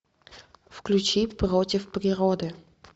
включи против природы